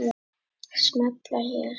Smella hér